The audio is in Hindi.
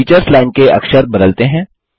टीचर्स लाइन के अक्षर बदलते हैं